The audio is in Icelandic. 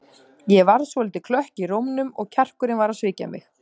Ég varð svolítið klökk í rómnum og kjarkurinn var að svíkja mig.